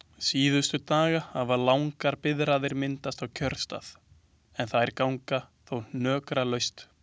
Síðustu daga hafa langar biðraðir myndast á kjörstað en þær ganga þó hnökralaust.